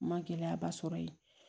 N ma gɛlɛyaba sɔrɔ yen